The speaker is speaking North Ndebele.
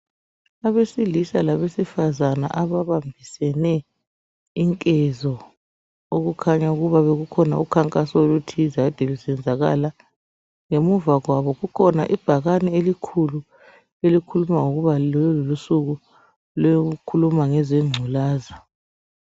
Abesilisa labe sifazane ababambisane inkezo okukhanya ukuba kukhona umkhankaso othize ade usenzakala, ngemuva kwabo kukhona ibhakane elikhulu elikhuluma ngokuba loku lusuku lokukhuluma ngeze ngculaza.